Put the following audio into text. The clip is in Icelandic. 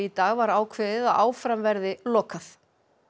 dag var ákveðið að áfram verði lokað